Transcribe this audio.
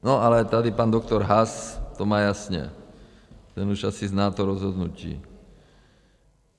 No ale tady pan doktor Haas to má jasně, ten už asi zná to rozhodnutí.